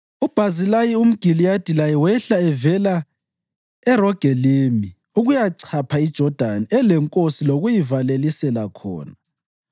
UBhazilayi umGiliyadi laye wehla evela eRogelimi ukuyachapha iJodani elenkosi lokuyayivalelisela khona.